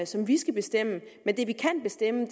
som vi skal bestemme men det vi kan bestemme